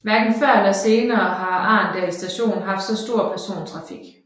Hverken før eller senere har Arendal Station haft så stort persontrafik